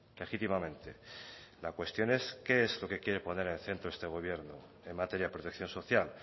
legítimamente la cuestión es qué es lo que quiere poner en el centro este gobierno en materia de protección social